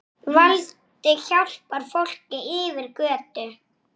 Bjartur gefur bókina út.